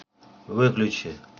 выключи